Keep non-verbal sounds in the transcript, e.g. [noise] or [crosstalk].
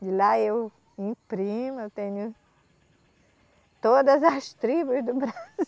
De lá eu imprimo, eu tenho todas as tribos do Bra [laughs]